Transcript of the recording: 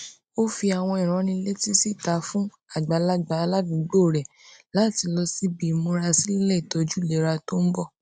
ó fi àwọn ìránnilétí síta fún àgbàlagbà aládùúgbò rẹ láti lọ síbi ìmúrasílẹ ìtójú ìlera tó ń bọ